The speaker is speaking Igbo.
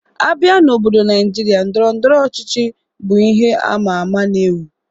A bịa n'obodo Naịjirịa, Ndọrọ ndọrọ ọchịchị bụ ihe ama ama na-ewu.